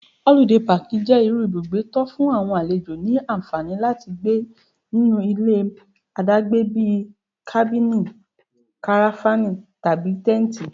Holiday Park jẹ́ irú ibùgbé tó'fún àwọn àlejò ní ànfàní láti gbé nínú ilé àdágbé bíi Kábìnì, Karafánì, tàbí Tẹ́ǹtì.